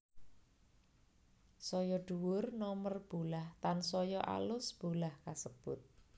Saya dhuwur nomer bolah tansaya alus bolah kasebut